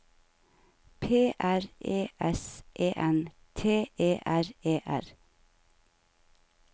P R E S E N T E R E R